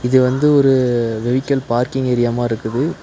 இது வந்து ஒரு வெவிக்கல் பார்க்கிங் ஏரியா மாரிருக்குது.